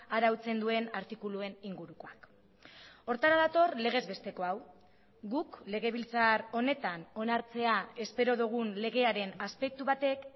arautzen duen artikuluen ingurukoak horretara dator legezbesteko hau guk legebiltzar honetan onartzea espero dugun legearen aspektu batek